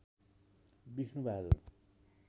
Vishnu Bahadur